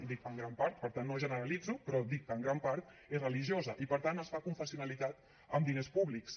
i dic en gran part per tant no ho generalitzo però dic que en gran part és religiosa i per tant es fa confessionalitat amb diners públics